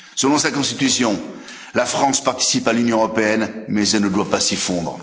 Selon sa Constitution, la France participe à l'Union européenne, mais elle ne doit pas s'y fondre.